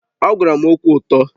Ọ gwara m okwu ụtọ